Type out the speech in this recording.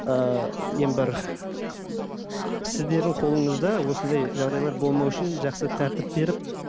ыыы нем бар сіздердің қолыңызда осындай жағдайлар болмау үшін жақсы тәртіп беріп